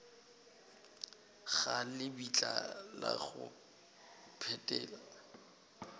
ga lebitla la go phethela